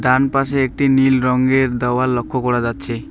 ডান পাশে একটি নীল রঙ্গের দেওয়াল লক্ষ্য করা যাচ্ছে।